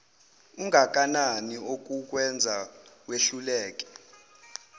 ungakanani okukwenza wehluleke